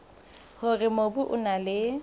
hore mobu o na le